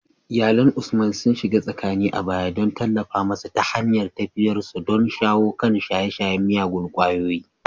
Iyalan Usman sun shiga tsakani a baya don tallafa masa ta hanyar tafiyarsa don shawo kan shaye-shayen miyagun kwayoyi.